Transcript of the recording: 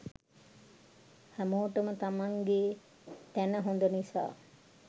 හැමෝටම තමන්ගෙ තැන හොඳ නිසා